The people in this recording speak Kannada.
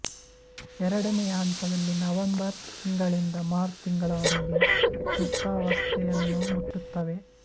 ಎರಡನೆಯ ಹಂತದಲ್ಲಿ ನವೆಂಬರ್ ತಿಂಗಳಿಂದ ಮಾರ್ಚ್ ತಿಂಗಳವರೆಗೆ ಸುಪ್ತಾವಸ್ಥೆಯನ್ನು ಮುಟ್ಟುತ್ತವೆ